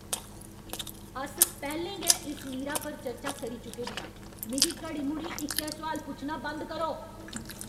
अस पैह्लें गै इस मीरा पर चर्चा करी चुके दे आं! मिगी घड़ी मुड़ी इक्कै सुआल पुच्छना बंद करो।